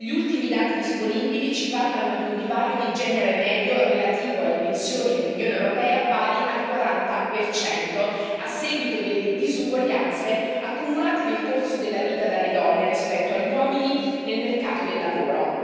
Gli ultimi dati disponibili ci parlano di un divario di genere medio relativo alle pensioni nell'Unione europea pari al 40 a seguito delle disuguaglianze accumulate nel corso della vita dalle donne rispetto agli uomini nel mercato del lavoro.